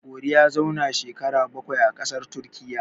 Gogori ya zauna shekara bakwai a ƙasar Turkiyya.